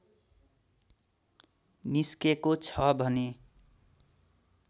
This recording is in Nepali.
निस्केको छ भने